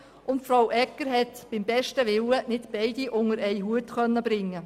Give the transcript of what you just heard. Regierungsrätin Egger konnte beim besten Willen nicht beide unter einen Hut bringen.